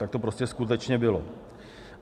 Tak to prostě skutečně bylo.